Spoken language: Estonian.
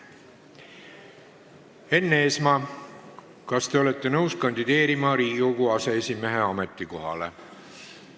Enn Eesmaa, kas te olete nõus kandideerima Riigikogu aseesimehe ametikohale?